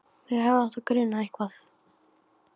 Mig hefði átt að gruna eitthvað.